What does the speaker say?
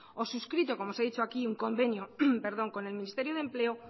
o suscrito como os he dicho aquí un convenio con el ministerio de empleo